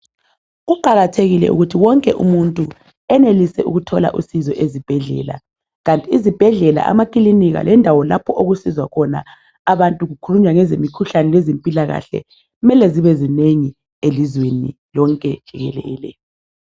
Kuqakathekile ukuthi wonke umuntu enelise ukuthola usizo ezibhedlela. Kanti izibhedlela, amakilinika lendawo lapho okusizwa khona abantu kukhulunywa ngezemikhuhlane lezempilakahle mele zibe zinengi elizweni lonke jikelele.